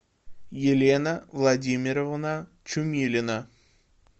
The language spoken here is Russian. елена владимировна чумилина